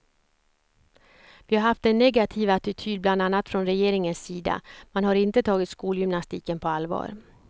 Vi har haft en negativ attityd bland annat från regeringens sida, man har inte tagit skolgymnastiken på allvar.